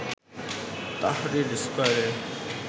Tahrir স্কয়ারে